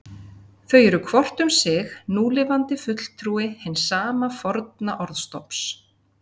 Þau eru hvort um sig núlifandi fulltrúi hins sama forna orðstofns.